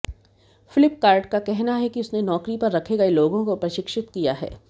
फ्लिपकार्ट का कहना है कि उसने नौकरी पर रखे गए लोगों को प्रशिक्षित किया है